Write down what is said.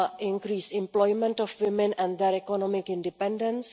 increased employment of women and their economic independence